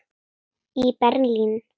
í Berlín.